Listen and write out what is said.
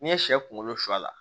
N'i ye sɛ kunkolo sɔ la